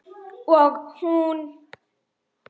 Og hún?